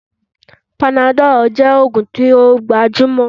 Panadol jẹ́ oògùn tí ó gbajúmọ̀